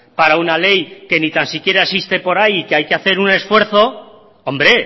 para una ley que ni tan siquiera existe por ahí y que hay que hacer un esfuerzo hombre